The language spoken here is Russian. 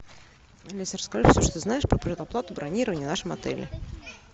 алиса расскажи все что знаешь про предоплату бронирования в нашем отеле